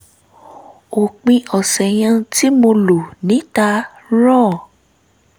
òpin ọ̀sẹ̀ yẹn tí mo lò níta ràn